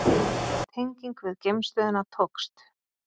Tenging við geimstöðina tókst